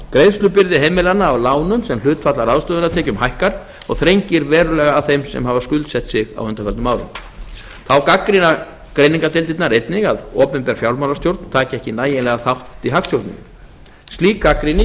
greiðslubyrði heimilanna af lánum sem hlutfall af ráðstöfunartekjum hækkar og þrengir verulega að þeim sem hafa skuldsett sig á undanförnum árum þá gagnrýna greiningardeildirnar einnig að opinber fjármálastjórn taki ekki nægjanlegan þátt í hagstjórninni slík gagnrýni